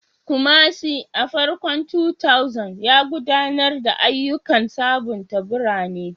Kumasi, a farkon 2000s, ya gudanar da ayyukan sabunta birane